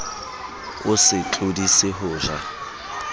o se tlodise ho ja